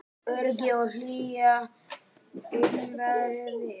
Öryggi og hlýja umvefja mig.